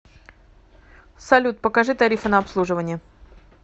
салют покажи тарифы на обслуживание